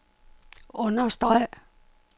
understreg